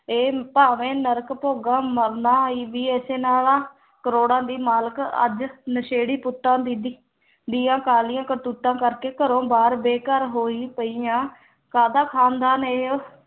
ਇਹ ਭਾਂਵੇਂ ਨਰਕ ਭੋਗਾਂ ਮਰਨਾ ਹੀ ਵੀ ਇਸੇ ਨਾਲ ਆ ਕਰੋੜਾਂ ਦੀ ਮਾਲਕ ਅੱਜ ਨਸ਼ੇੜੀ ਪੁੱਤਾਂ ਦੀਆਂ ਕਾਲੀਆਂ ਕਰਤੂਤਾਂ ਕਰਕੇ ਘਰੋਂ ਬਾਹਰ ਬੇ-ਘਰ ਹੋਈ ਪਈ ਆਂ ਕਾਹਦਾ ਖ਼ਾਨਦਾਨ ਇਹ